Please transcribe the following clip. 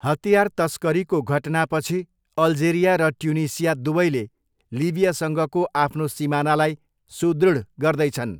हतियार तस्करीको घटनापछि अल्जेरिया र ट्युनिसिया दुवैले लिबियासँगको आफ्नो सिमानालाई सुदृढ गर्दैछन्।